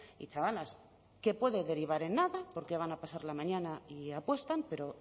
y chavalas que puede derivar en nada porque van a pasar la mañana y apuestan pero